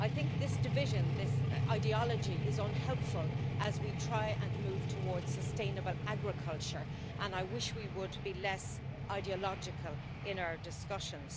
I think this division, this ideology, is unhelpful as we try to move towards sustainable agriculture, and I wish we would be less ideological in our discussions.